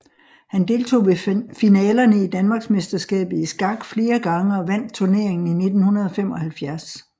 Han deltog ved finalerne af danmarksmesterskabet i skak flere gang og vandt turneringen i 1975